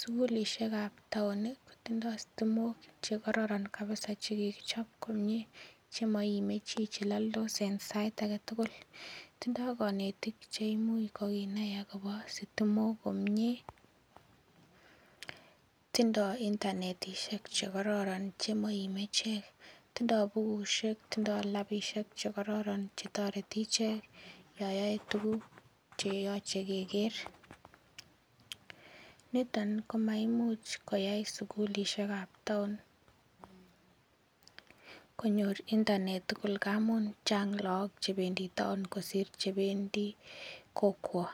Sugulisiek ab town kotindoo stimok chekororon kabisa chekikichob komie chemoime chii cheloldos en sait aketugul tindoo konetik cheimuch kokinai akobo stimok komie tindoo internetisiek chekororon chemoime chii tindoo bukusiek tindoo labisiek chekororon chetoreti ichek yon yoe tuguk cheyoche keker niton komaimuch koyai sugulisiek ab town konyor internet tugul amun chang lagok chebendii town kosir chebendii kokwo.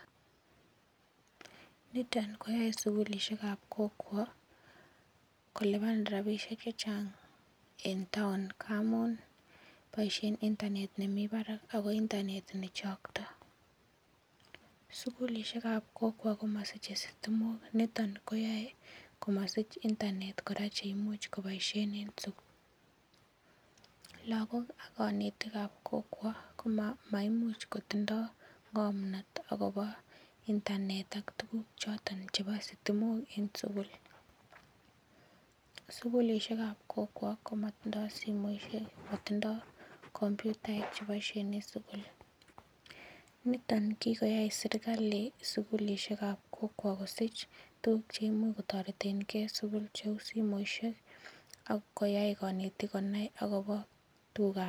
Niton koyoe sugulisiek ab kokwo kolipan rapisiek chechang en town amun boisien internet nemii barak ako internet nechoktoo. Sugulisiek ab kokwo komosiche stimok niton koyoe komosiche internet kora cheimuch koboisien en sukul. Lagok ak konetik ab kokwo ko maimuch kotindoo ng'omnot akobo internet ak tuguk choton chebo stimok en sugul. Sugulisiek ab kokwo komotindoo simoisiek motindoo komputaek cheboisien en sugul niton kikoyai serkali sugulisiek ab kokwo kosich tuguk cheimuch kotoretengee en sugul cheu simoisiek ak koyai konetik konai akobo tuguk ab